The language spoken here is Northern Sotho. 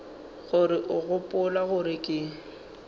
gore o gopola gore ke